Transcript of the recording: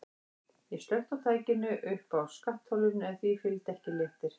Ég slökkti á tækinu uppi á skattholinu en því fylgdi ekki léttir.